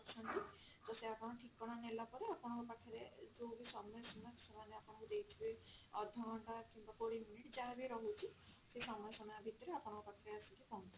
ତ ସେ ଆପଣଙ୍କ ଠିକଣା ନେଲା ପରେ ସେ ଆପଣଙ୍କ ପାଖରେ ଯଉ ବି ସମୟ ସୀମା ସେମାନେ ଆପଣଙ୍କୁ ଦେଇଥିବେ ଅଧଘଣ୍ଟା କିମ୍ବା କୋଡିଏ minute ଯାହା ବି ରହୁଛି ସେ ସମୟ ସୀମା ଭିତରେ ଆପଣଙ୍କ ପାଖରେ ଆସିକି ପହଞ୍ଚିଯିବ।